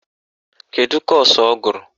Kedu kọ́ọ̀sụ̀ ọ gụrụ?